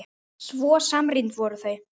Svo samrýnd voru þau.